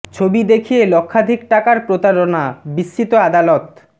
ছবি দেখিয়ে লক্ষাধিক টাকার প্রতারণা বিস্মিত আদালত